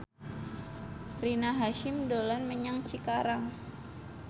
Rina Hasyim dolan menyang Cikarang